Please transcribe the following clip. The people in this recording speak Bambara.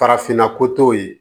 Farafinna ko t'o ye